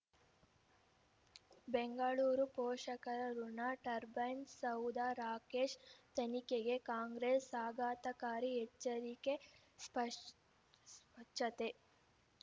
ಬೆಂಗಳೂರು ಪೋಷಕರಋಣ ಟರ್ಬೈನು ಸೌಧ ರಾಕೇಶ್ ತನಿಖೆಗೆ ಕಾಂಗ್ರೆಸ್ ಆಘಾತಕಾರಿ ಎಚ್ಚರಿಕೆ ಸ್ಪಚ್ಛತೆ